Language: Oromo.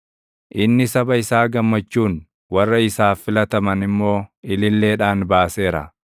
Inni saba isaa gammachuun, warra isaaf filataman immoo ililleedhaan baaseera;